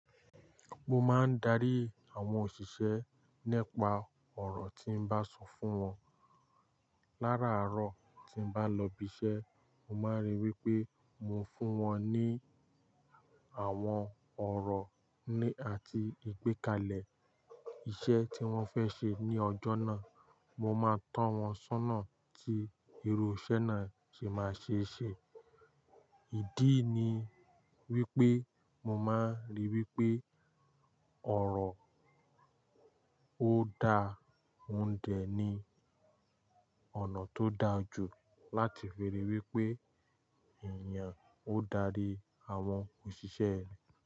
Mo máa ń darí àwọn òṣìṣẹ́ nípa ọ̀rọ̀ tí n bá sọ fún wọn. Láraàárọ̀ tí n bá lọ ibi iṣẹ́, mo máa ríi wí pé mo fún wọn ní àwọn ọ̀rọ̀ ní àti ìgbékalẹ̀ iṣẹ́ tí wọ́n fẹ́ ṣe ní ọjọ́ náà. Mo máa tan wọ́n sọ́nà tí irú iṣẹ́ náà ṣe máa ṣe ṣe. Ìdí ni wípé mo máa ríi wípé ọ̀rọ̀ ó dá mú dẹ ni ọ̀nà tó dáa jù láti fi ríi wípé èèyàn ó darí àwọn òṣìṣẹ́ rẹ̀